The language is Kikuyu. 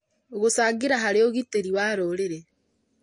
Gũcangĩra harĩ ũgitĩri wa rũrĩrĩ